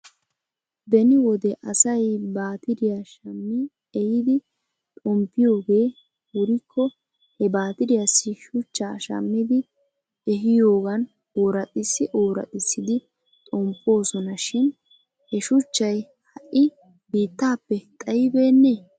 Beni wode asay baatiriyaa shammi ehidi xomppiyoogee wurikko he baatiriyaassi shuchchaa shammidi ehiyoogan ooraxxissi ooraxxissidi xomppoosona shin he shuchchay ha'i biittaappe xayibeenee?